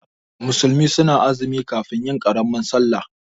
Musulmi suna azumi kafin yin karamin sallah